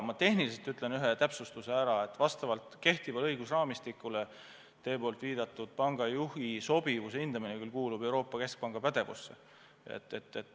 Ma teen ühe tehnilise täpsustuse, et vastavalt kehtivale õigusraamistikule teie viidatud pangajuhi sobivuse hindamine kuulub Euroopa Keskpanga pädevusse.